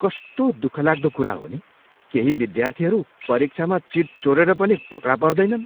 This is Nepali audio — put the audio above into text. कस्तो दुखलाग्दो कुरा हो नि, केही विद्यार्थीहरू परीक्षामा चिट चोरेर पनि पकडा पर्दैनन्।